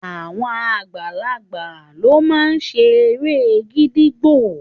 Àwọn àgbàlagbà lo ma ṣe ere gídígbò